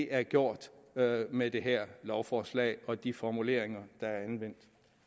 er gjort med det her lovforslag og de formuleringer der er anvendt